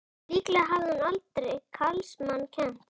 Líklega hafði hún aldrei karlmanns kennt!